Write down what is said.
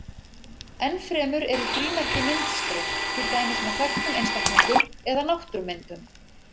Enn fremur eru frímerki myndskreytt, til dæmis með þekktum einstaklingum eða náttúrumyndum.